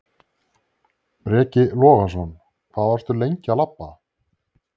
Breki Logason: Hvað varstu lengi að labba?